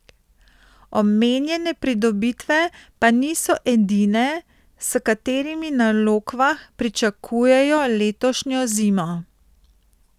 Omenjene pridobitve pa niso edine, s katerimi na Lokvah pričakujejo letošnjo zimo.